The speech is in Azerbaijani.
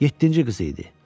yeddinci qızı idi.